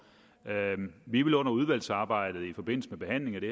vi vil under udvalgsarbejdet i forbindelse med behandlingen af det